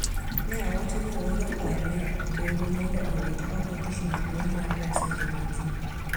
Ne owacho ni ooro kwayo ne doho mondo owit oko tich maduong` mar reso ngima ji